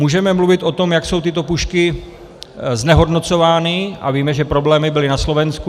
Můžeme mluvit o tom, jak jsou tyto pušky znehodnocovány - a víme, že problémy byly na Slovensku.